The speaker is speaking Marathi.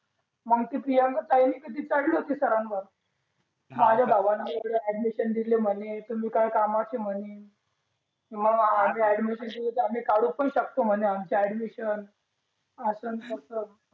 मग ती प्रियांका ताई चढली होती सरांवर माझ्या भावाने इकडे ऍडमिशन दिले म्हणे तुम्ही काय कामाचे म्हणे किंवा आम्ही ऍडमिशन आम्ही काढू पण शकतो म्हणे आमचे ॲडमिशन असतस